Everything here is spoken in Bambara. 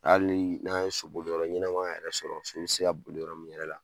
Hali ni n'an ye soboliyɔrɔ ɲɛnama yɛrɛ sɔrɔ, so bɛ se ka bolo yɔrɔ min yɛrɛ la.